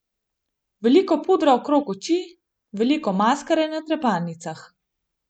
Veliko pudra okrog oči, veliko maskare na trepalnicah.